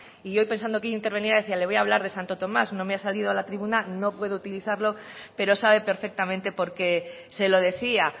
y yo pensando que hoy intervenía decía le voy a hablar de santo tomás no me ha salido a la tribuna no puedo utilizarlo pero sabe perfectamente por qué se lo decía